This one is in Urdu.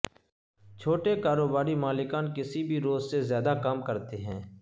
چھوٹے کاروباری مالکان کسی بھی روز سے زیادہ کام کرتے ہیں